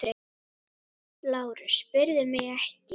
LÁRUS: Spyrðu mig ekki!